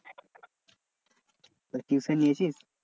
Tuition নিয়েছিস?